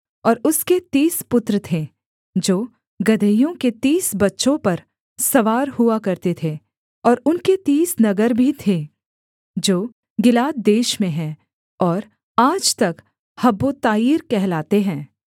और उसके तीस पुत्र थे जो गदहियों के तीस बच्चों पर सवार हुआ करते थे और उनके तीस नगर भी थे जो गिलाद देश में हैं और आज तक हब्बोत्याईर कहलाते हैं